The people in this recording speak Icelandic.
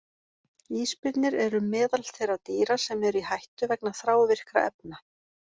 Ísbirnir eru meðal þeirra dýra sem eru í hættu vegna þrávirkra efna.